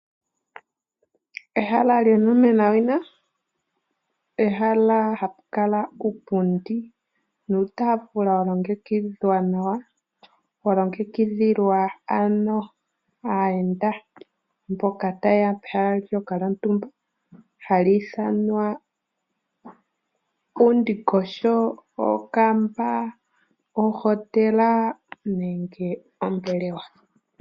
Ehala lyonomena wina, pehala hapu kala uupundi nuutaafula wa longekidhwa nawa. Wa longekidhilwa ano aayenda mboka ta yeya pehala ndyoka lyontumba hali ithanwa uundingosho, okamba, ohotela nenge ombelewa.